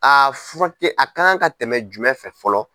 Furakɛ a ka kan ka tɛmɛ jumɛn fɛ fɔlɔ?